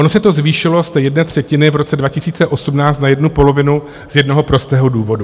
Ono se to zvýšilo z té jedné třetiny v roce 2018 na jednu polovinu z jednoho prostého důvodu.